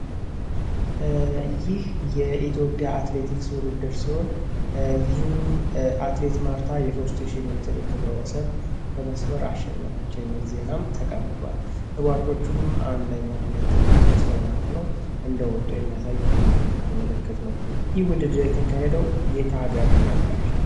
ይህ የኢትዮጵያ አትሌቲክስ ውድድር ሲሆን ይህም አትሌት ማርታ የሦስት ሺ ክብረወሰን በመስበር አሸነፈች የሚል ዜና ተቀምጧል። ሯጮቹም አንደኛ፣ ሁለተኛ፣ ሶስተኛ ሆነው እንደወጡ የሚያሳይ ምልክት ነው። ይህ ውድድር የተካሄደው የት ሃገር ነበር?